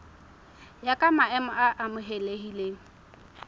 ya ka maemo a amohelehileng